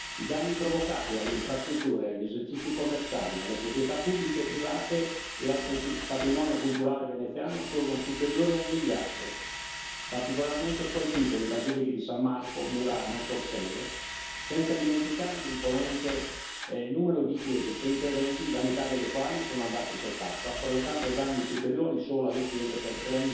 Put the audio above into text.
I danni provocati alle infrastrutture, agli esercizi commerciali, alle proprietà pubbliche e private e al patrimonio culturale veneziano sono superiori al miliardo. Particolarmente colpite le basiliche di San Marco, Murano, Torcello, senza dimenticare l'imponente numero di chiese, 120, la metà delle quali sono andate sott'acqua, provocando danni superiori, solo alle chiese, per